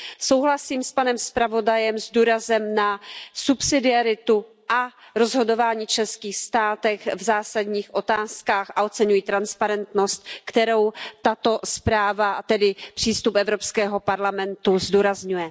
Souhlasím s panem zpravodajem s důrazem na subsidiaritu a rozhodování v členských státech v zásadních otázkách a oceňuji transparentnost, kterou tato zpráva, tedy přístup Evropského parlamentu, zdůrazňuje.